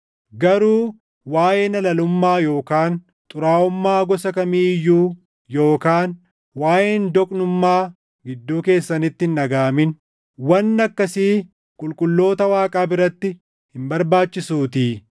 Garuu waaʼeen halalummaa yookaan xuraaʼummaa gosa kamii iyyuu yookaan waaʼeen doqnummaa gidduu keessanitti hin dhagaʼamin; wanni akkasii qulqulloota Waaqaa biratti hin barbaachisuutii.